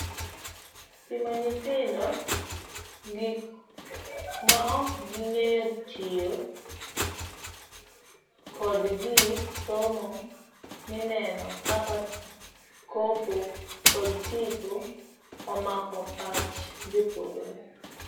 Pimo ninyithindo gik maok gineekitiyo kod gik somo mmineno kaka kopo kod tipo omako pach jopuonjre.